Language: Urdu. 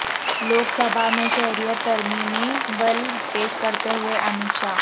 لوک سبھا میں شہریت ترمیمی بل پیش کرتے ہوئے امت شاہ